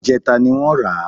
Ìjẹta ni wọ́n rà á